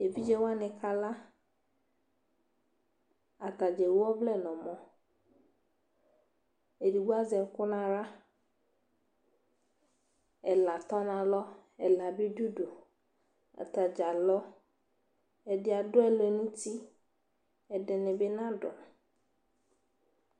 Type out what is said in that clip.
evidze wani ka la atadza ewu ɔvlɛ no ɔmɔ edigbo azɛ ɛko no ala ɛla tɔ no alɔ ɛla bi do udu atadza alɔ ɛdi ado ɛlɛnuti ɛdini bi na do